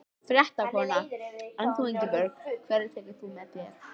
Fréttakona: En þú Ingibjörg, hverja tekur þú með þér?